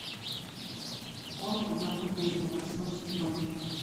холм одного дерева восьмой сезон